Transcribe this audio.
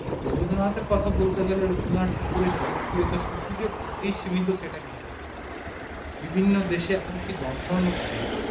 রবীন্দ্রনাথ এর কথা বলতে গেলে রবীন্দ্রনাথ ঠাকুর এর জনপ্রিয়তা যে সীমিত ছিল সেটা না বিভিন্ন দেশে এখন কি জনগণ অবধি